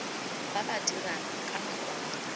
ba ba dirang ka makwalo